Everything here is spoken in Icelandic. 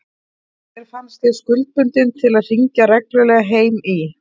Mér fannst ég skuldbundin til að hringja reglulega heim í